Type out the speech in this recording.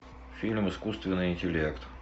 фильм искусственный интеллект